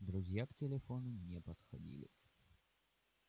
друзья к телефону не подходили